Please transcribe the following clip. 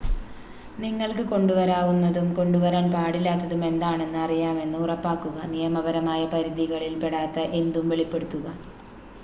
നിങ്ങൾക്ക് കൊണ്ടുവരാവുന്നതും കൊണ്ടുവരാൻ പാടില്ലാത്തതും എന്താണെന്ന് അറിയാമെന്ന് ഉറപ്പാക്കുക നിയമപരമായ പരിധികളിൽ പെടാത്ത എന്തും വെളിപ്പെടുത്തുക